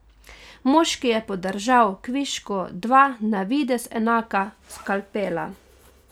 Moški je podržal kvišku dva na videz enaka skalpela.